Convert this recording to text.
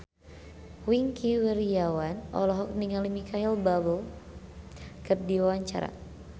Wingky Wiryawan olohok ningali Micheal Bubble keur diwawancara